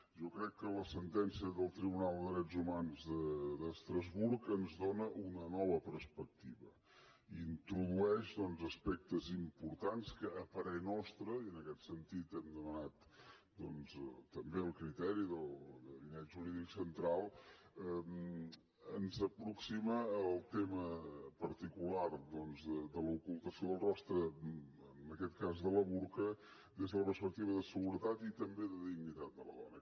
jo crec que la sentència del tribunal dels drets humans d’estrasburg ens dóna una nova perspectiva introdueix doncs aspectes importants que a parer nostre i en aquest sentit hem demanat també el criteri del gabinet jurídic central ens aproxima al tema particular de l’ocultació del rostre en aquest cas del burca des de la perspectiva de seguretat i també de dignitat de la dona